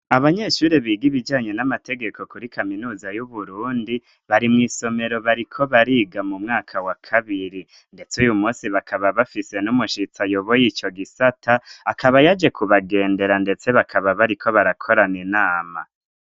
Abanyeshuri biga ibijanye n'amategeko kuri kaminuza y'uburundi bari mw'isomero bariko bariga mu mwaka wa kabiri, ndetse uyu musi bakaba bafise n'umushitsa ayoboye ico gisata akaba yaje ku bagendera, ndetse bakaba bariko barakorana inama.